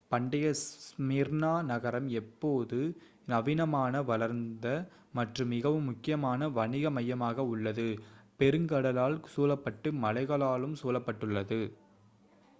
பண்டைய ஸ்மிர்னா நகரம் இப்போது நவீனமான வளர்ந்த மற்றும் மிகவும் முக்கியமான வணிக மையமாக உள்ளது பெருங்கடலால் சூழப்பட்டு மலைகளாலும் சூழப்பட்டுள்ளது